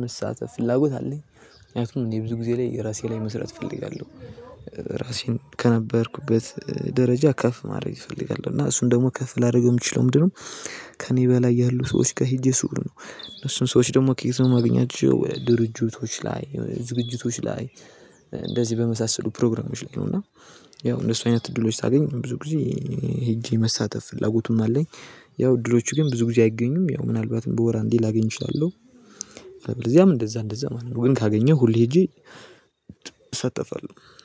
መሳተፍ ፍላጎት አለኝ። ምክንያቱም እኔ ብዙ ጊዜ ላይ ራሴ ላይ መስራት እፈልጋለሁ። ራሴን ከነበርኩበት ደረጃ ከፍ ማድረግ እፈልጋለሁ እና እሱን ደግሞ ከፍ ላደርግ የምችለው ምንድነው? ከእኔ በላይ ያሉ ሰዎች ጋር ሄጄ ስዉል ነው እነሱን ሰዎች ደግሞ ኬት ነው የማገኛቸው ድርጅቶች ላይ ዝግጅቶች ላይ እንደዚህ በመሳሰሉ ፕሮግራሞች ላይ ነው። እና ያው እንደሱ አይነት እድሎች ሳገኝ ብዙ ጊዜ ሄጄ መሳተፍ ፍላጎቱም አለኝ። ያው እድሎቹ ግን ብዙ ጊዜ አይገኙም ያው ምናልባትም በወር አንዴ ላገኝ እችላለሁ። በዚያም እንደዛ እንደዛ ማለት ነው ወይን ካገኘህ ሁሌ ሄጄ እሰተፋለሁ